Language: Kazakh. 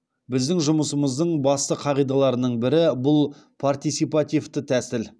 біздің жұмысымыздың басты қағидаларының бірі бұл партисипативті тәсіл